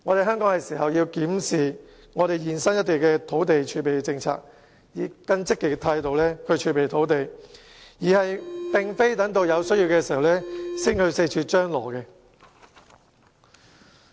香港是時候檢視土地儲備政策，並以更積極的態度儲備土地，而不是等到有需要時才四處張羅。